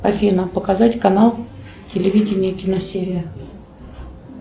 афина показать канал телевидения киносерия